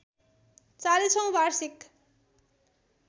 ४० औँ वार्षिक